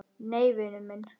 Nei, vinur minn.